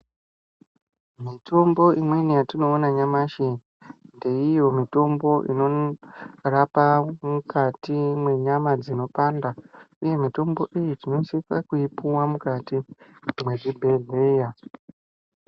Mitombo imweni yetinoona nyamashi ngeiyo mitombo inorapa mukati menyama dzinopanda, uye mitombo iyi tinosisa kuipuwa mukati mwezvibhedhlera.